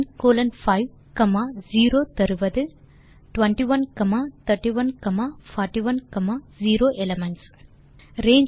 C1 colon 5 0 21 31 41 0 elements ஐ தருகிறது